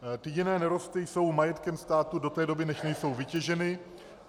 Jiné nerosty jsou majetkem státu do té doby, než nejsou vytěženy.